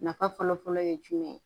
Nafa fɔlɔ-fɔlɔ ye jumɛn